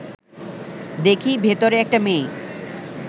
দেখি ভেতরে একটা মেয়ে